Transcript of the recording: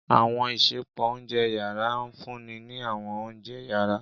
Àwọn isẹpo ounjẹ yara nfunni ni àwọn ounjẹ yara.